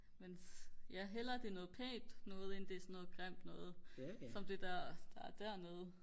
men hellere det er noget pænt noget end det er sådan noget grimt noget som det der er dernede